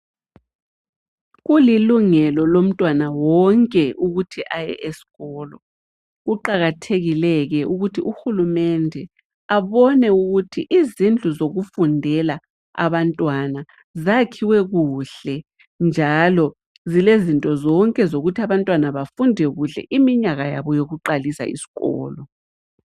Kulilungelo lomntwana wonke ukuthi aye esikolo. Kuqakathekile ke ukuthi uhulumende abone ukuthi izindlu zokufundela abantwana zakhiwe kuhle, njalo zilezinto zonke zokuthi abantwana bafunde kuhle iminyaka yabo yokuqalisa isikolo.